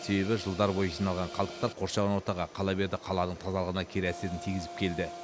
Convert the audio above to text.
себебі жылдар бойы жиналған қалдықтар қоршаған ортаға қала берді қаланың тазалығына кері әсерін тигізіп келді